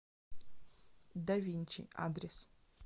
да винчи адрес